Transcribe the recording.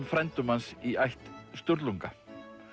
frændum hans í ætt Sturlunga